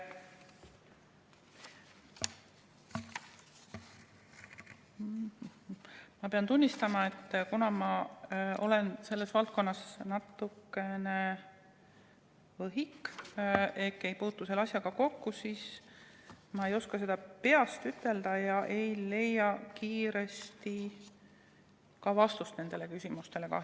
Ma pean tunnistama, et kuna ma olen selles valdkonnas natukene võhik ehk ei puutu selle asjaga kokku, siis ma ei oska seda peast ütelda ega leia kiiresti kahjuks ka vastust sellele küsimusele.